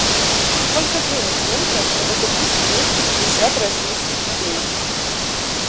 сколько денег нужно чтобы купить двести пятьдесят российских рублей